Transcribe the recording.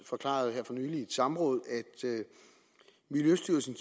forklaret her for nylig i et samråd at miljøstyrelsen